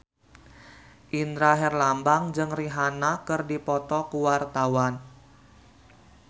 Indra Herlambang jeung Rihanna keur dipoto ku wartawan